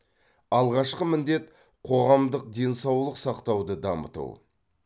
алғашқы міндет қоғамдық денсаулық сақтауды дамыту